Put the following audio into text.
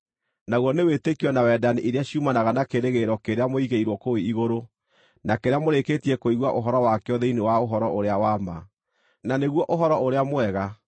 naguo nĩ wĩtĩkio na wendani iria ciumanaga na kĩĩrĩgĩrĩro kĩrĩa mũigĩirwo kũu igũrũ na kĩrĩa mũrĩkĩtie kũigua ũhoro wakĩo thĩinĩ wa ũhoro ũrĩa wa ma, na nĩguo Ũhoro-ũrĩa-Mwega